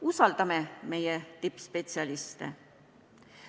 Usaldame meie tippspetsialiste.